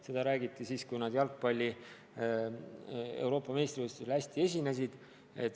Sellest räägiti palju siis, kui nad jalgpalli Euroopa meistrivõistlustel hästi esinesid.